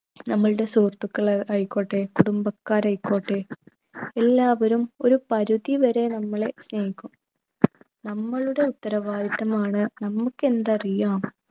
നമ്മുടെ സുഹൃത്തുക്കൾ ആയിക്കോട്ടെ കുടുംബക്കാരായിക്കോട്ടെ എല്ലാവരും ഒരു പരുധി വരെ നമ്മളെ സ്നേഹിക്കും നമ്മളുടെ ഉത്തരവാദിത്വം ആണ് നമുക്കെന്തറിയാം